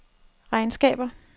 regnskaber